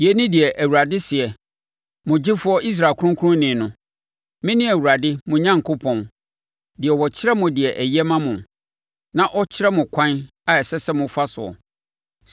Yei ne deɛ Awurade seɛ, mo gyefoɔ, Israel Kronkronni no: “Mene Awurade mo Onyankopɔn, deɛ ɔkyerɛ mo deɛ ɛyɛ ma mo, na ɔkyerɛ mo ɛkwan a ɛsɛ sɛ mofa soɔ.